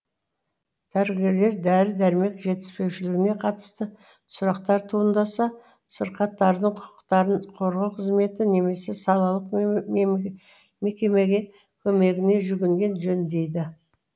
дәрігерлер дәрі дәрмек жетіспеушілігіне қатысты сұрақтар туындаса сырқаттардың құқықтарын қорғау қызметі немесе салалық мекемеге көмегіне жүгінген жөн дейді